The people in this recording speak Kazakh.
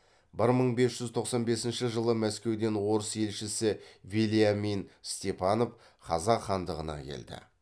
бір мың бес жүз тоқсан бесінші жылы мәскеуден орыс елшісі вельямин степанов қазақ хандығына келді